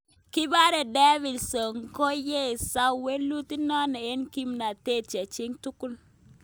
Kipare Davidson konyesach welut inano en kipmatet cheching tugul.